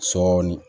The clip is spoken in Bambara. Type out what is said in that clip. Sɔɔni